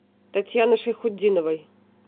татьяны шайхутдиновой